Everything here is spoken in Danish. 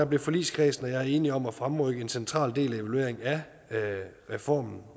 blev forligskredsen og jeg enige om at fremrykke en central del af evalueringen af reformen